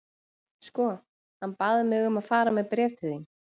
Sko, hann bað mig um að fara með bréf til þín.